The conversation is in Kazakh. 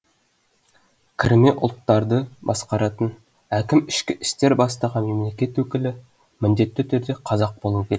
кірме ұлттарды басқаратын әкім ішкі істер бастығы мемлекет өкілі міндетті түрде қазақ болуы керек